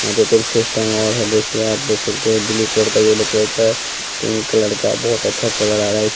यहाँ दो-तीन fish tank और है देखिए आप देख सकते हैं ब्लू कलर का येलो कलर का पिंक कलर का बहुत अच्छा कलर आ रहा है इस--